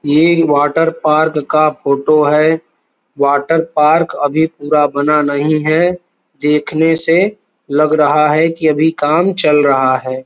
ये water park का photo है। वॉटर पार्क अभी पूरा बना नहीं है। देखने से लग रहा है कि अभी काम चल रहा है।